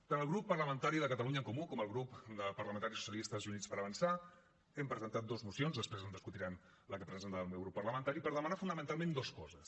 tant el grup parlamentari de catalunya en comú com el grup parlamentaris socialistes i units per avançar hem presentat dues mocions després discutirem la que presenta el meu grup parlamentari per demanar fonamentalment dues coses